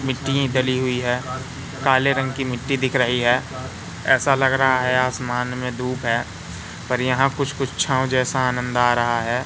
मिट्टी डली हुई है काले रंग की मिट्टी दिख रही है ऐसा लग रहा है आसमान में धूप है पर यहां कुछ कुछ छांव जैसा आनंद आ रहा है।